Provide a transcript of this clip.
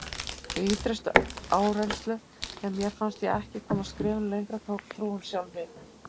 Við ýtrustu áreynslu, þegar mér fannst ég ekki komast skrefinu lengra, tók trúin sjálf við.